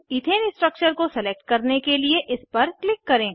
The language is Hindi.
इथेन स्ट्रक्चर को सेलेक्ट करने के लिए इस पर क्लिक करें